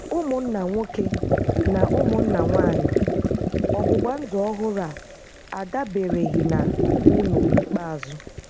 Ụmụnna nwoke na ụmụnna nwanyị, ọgbụgba ndụ ọhụrụ a adabereghị na unu n’ikpeazụ.